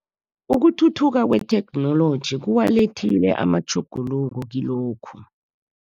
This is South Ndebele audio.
Ukuthuthuka kwetheknoloji, kuwalethile amatjhuguluko kilokhu.